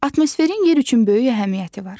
Atmosferin yer üçün böyük əhəmiyyəti var.